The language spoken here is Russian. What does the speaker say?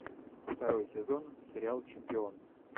второй сезон сериал чемпион